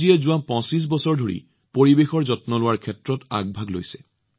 মনোজজীয়ে যোৱা পঁচিশ বছৰ ধৰি পৰিৱেশৰ যত্ন লোৱাৰ ক্ষেত্ৰত আগভাগ লৈছে